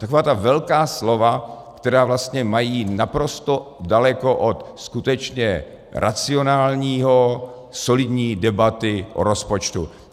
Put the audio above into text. Taková ta velká slova, která vlastně mají naprosto daleko od skutečně racionální, solidní debaty o rozpočtu.